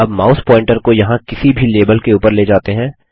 अब mouse pointer को यहाँ किसी भी लेबल के उपर ले जाते हैं